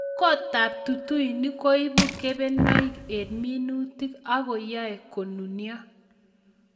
Kot ab tutuinik koibu kebenonik eng' minuti k ako yae konunio